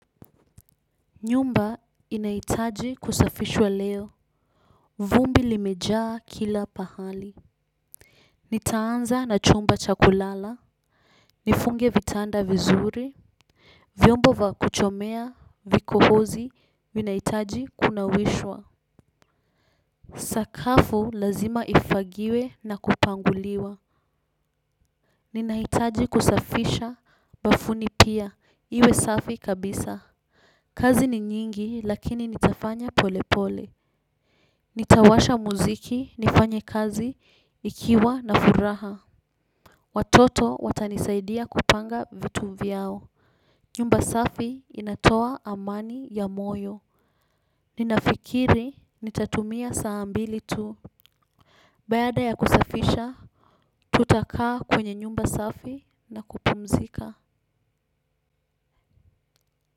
Nyumba inahitaji kusafishwa leo. Vumbi limejaa kila pahali. Nitaanza na chumba cha kulala. Nifunge vitanda vizuri, vyombo vya kuchomea vikohozi vinahitaji kunawishwa. Sakafu lazima ifagiwe na kupanguliwa. Ninaitaji kusafisha bafuni pia, iwe safi kabisa. Kazi ni nyingi, lakini nitafanya polepole. Nitawasha muziki, nifanye kazi nikiwa na furaha. Watoto watanisaidia kupanga vitu vyao. Nyumba safi inatoa amani ya moyo. Ninafikiri nitatumia saa mbili tu. Baada ya kusafisha, tutakaa kwenye nyumba safi na kupumzika.